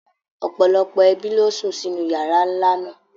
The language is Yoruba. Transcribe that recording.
Ọ̀pọ̀lọpọ̀ ẹbí ló sùn sínú yàrá ńlá náà.